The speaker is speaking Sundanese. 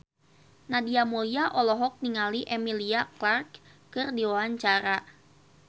Nadia Mulya olohok ningali Emilia Clarke keur diwawancara